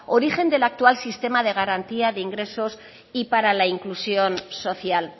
origen den actual sistema de garantía de ingresos y para la inclusión social